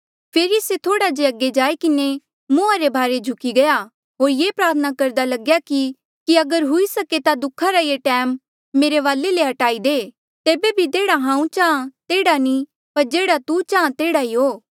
फेरी से थोह्ड़ा जे अगे जाई किन्हें मुंहा रे भारे झुकी गया होर ये प्रार्थना करदा लग्या कि कि अगर हुई सके ता दुःखा रा ये टैम मेरे वाले ले हट्टाई दे तेबे भी जेह्ड़ा हांऊँ चाहां तेह्ड़ा नी पर जेह्ड़ा तू चाहां तेह्ड़ा ई हो